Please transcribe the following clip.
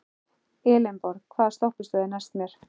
Elenborg, hvaða stoppistöð er næst mér?